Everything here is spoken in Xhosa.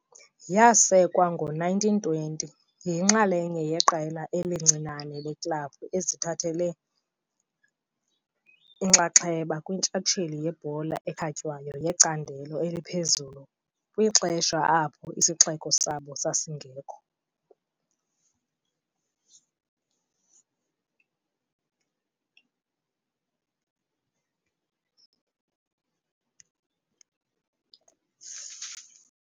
Yasekwa ngo-1920, yinxalenye yeqela elincinane leeklabhu ezithathe inxaxheba kwintshatsheli yebhola ekhatywayo yecandelo eliphezulu kwixesha apho isixeko sabo sasingekho